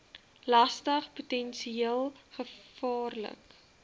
lastig potensieel gevaarlik